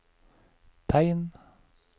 tegn